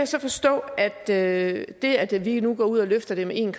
så forstå at det at jeg lige nu går ud og løfter det med en